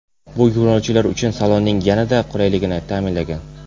Bu yo‘lovchilar uchun salonning yanada qulayligini ta’minlagan.